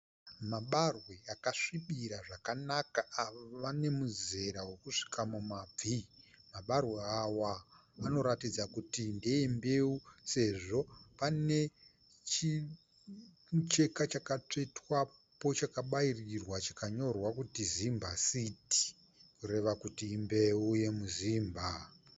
Mabarwe akasvibira zvakanaka ave nemuzera wekusvika mumabvi. Mabarwe awa anoratidza kuti ndeembewu sezvo pane chimucheka chakatsvetwapo chakabairirwa chikanyorwa kuti ZIMBASEED kureva kuti imbewu yemuZimba.